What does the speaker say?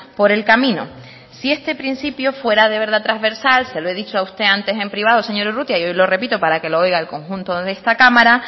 por el camino si este principio fuera de verdad transversal se lo he dicho a usted antes en privado señor urrutia y hoy lo repito para que lo oiga el conjunto de esta cámara